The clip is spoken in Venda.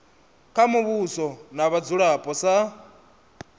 kha muvhuso na vhadzulapo sa